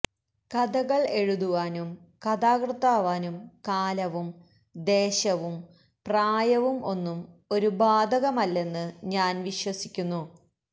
കഥകൾ എഴുതുവാനും കഥാകൃത്താവാനും കാലവും ദേശവും പ്രായവും ഒന്നും ഒരു ബാധകമല്ലെന്ന് ഞാൻ വിശ്വസിക്കുന്നു